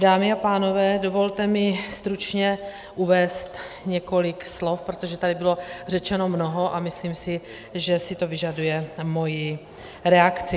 Dámy a pánové, dovolte mi stručně uvést několik slov, protože tady bylo řečeno mnoho a myslím si, že si to vyžaduje moji reakci.